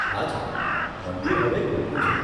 હાજી, મંદિર હવે ખુલ્લું છે.